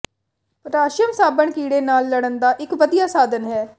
potassium ਸਾਬਣ ਕੀੜੇ ਨਾਲ ਲੜਨ ਦਾ ਇੱਕ ਵਧੀਆ ਸਾਧਨ ਹੈ